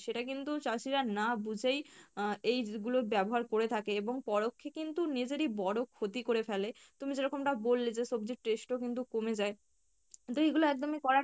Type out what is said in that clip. সেটা কিন্তু চাষীরা না বুঝেই আহ এইগুলোর ব্যাবহার করে থাকে এবং পরোক্ষ এ কিন্তু নিজেরই বড় ক্ষতি করে ফেলে তুমি যেরকম টা বললে যে সবজির taste ও কিন্তু কমে যায়, তো এগুলো একদমই করা